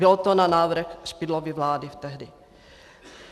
Bylo to na návrh Špidlovy vlády tehdy.